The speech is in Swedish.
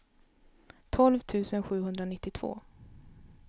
tolv tusen sjuhundranittiotvå